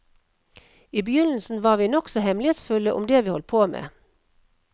I begynnelsen var vi nokså hemmelighetsfulle om det vi holdt på med.